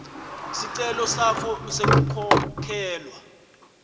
sicelo sakho sekukhokhelwa